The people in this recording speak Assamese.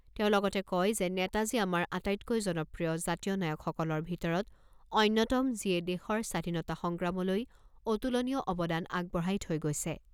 তেওঁ লগতে কয় যে নেতাজী আমাৰ আটাইতকৈ জনপ্ৰিয় জাতীয় নায়কসকলৰ ভিতৰত অন্যতম যিয়ে দেশৰ স্বাধীনতা সংগ্ৰামলৈ অতুলনীয় অৱদান আগবঢ়াই থৈ গৈছে।